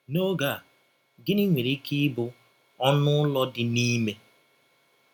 N’óge a, gịnị nwere ike ịbụ ‘ ọnụ ụlọ dị n’ime ’?